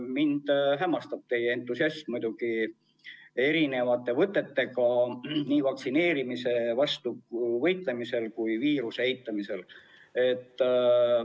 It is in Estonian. Mind hämmastab teie entusiasm erisuguste võtetega nii vaktsineerimise vastu võitlemisel kui ka viiruse eitamisel.